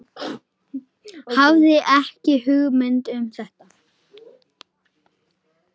Hafði ekki hugmynd um þetta.